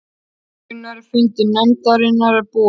Gunnar, er fundur nefndarinnar búinn?